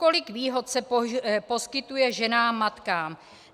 Kolik výhod se poskytuje ženám matkám?